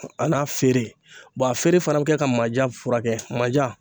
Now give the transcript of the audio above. A n'a feere bɔn a feere fana be kɛ ka manja fura kɛ manja